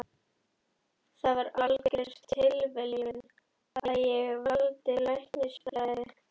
Það var algjör tilviljun að ég valdi læknisfræði.